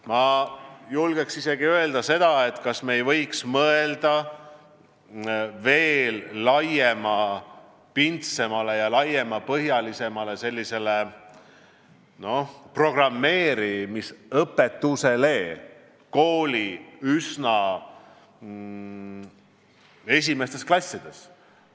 Ma julgen isegi öelda, et me ei võiksime mõelda veel laiemapindsele ja laiemapõhjalisele programmeerimisõpetusele üsna esimestes klassides.